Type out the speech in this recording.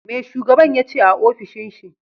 Me shugaban yace a ofishin shi?